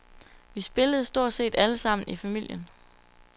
Vi spillede stort set alle sammen i familien.